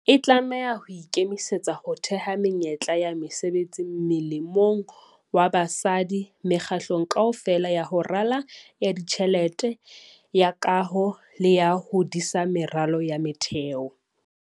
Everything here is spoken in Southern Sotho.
E tlameha ho ikemisetsa ho theha menyetla ya mesebetsi molemong wa basadi mekga-hlelong kaofela ya ho rala, ya ditjhelete, ya kaho le ya ho disa meralo ya motheo.